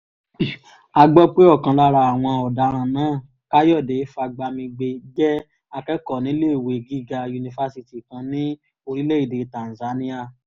a gbọ́ pé ọ̀kan lára àwọn ọ̀daràn náà káyọ̀dé fagbamigbe jẹ́ akẹ́kọ̀ọ́ níléèwé gíga yunifásitì kan ní orílẹ̀‐èdè tanzania